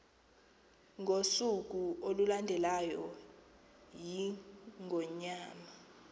ngosuku olulandelayo iingonyama